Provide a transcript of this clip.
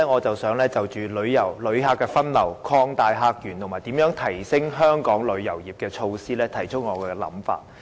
在此，我會就旅客分流、擴大客源，以及如何提升香港旅遊業的措施，提出我的想法。